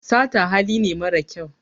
sata hali ne mara kyau